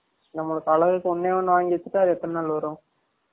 நம்ம பலக்ரதுக்கு ஒன்னே ஒன்னு வாங்கி வச்சிடா எத்தன நால் வரும்